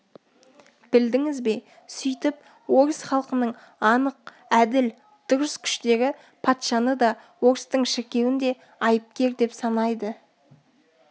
білдіңіз бе сөйтіп орыс халқының анық әділ дұрыс күштері патшаны да орыстың шіркеуін де айыпкер деп санайды